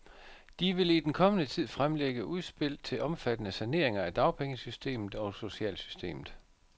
De vil i den kommende tid fremlægge udspil til omfattende saneringer af dagpengesystemet og socialsystemet.